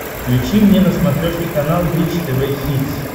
включи мне на смотрешке канал бридж тв хитс